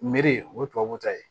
Meri o ye tubabu ta ye